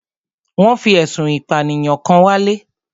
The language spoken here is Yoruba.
Wọ́n fi ẹ̀sùn ìpànìyàn kan wálé.